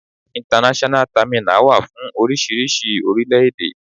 International terminal wà fún oríṣiríṣi orílẹ̀-èdè.